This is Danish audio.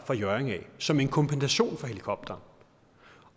hjørring som en kompensation for helikopteren